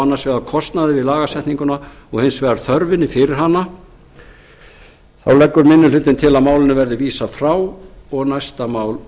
annars vegar kostnaði við lagasetninguna og hins vegar þörfinni fyrir hana leggur minni hlutinn til að málinu verði vísað frá og tekið fyrir næsta mál